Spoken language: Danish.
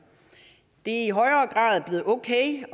det er i højere grad blevet okay